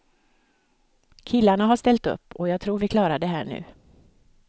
Killarna har ställt upp och jag tror att vi klarar det här nu.